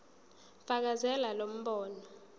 fakazela lo mbono